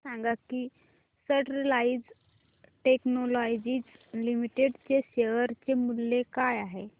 हे सांगा की स्टरलाइट टेक्नोलॉजीज लिमिटेड चे शेअर मूल्य काय आहे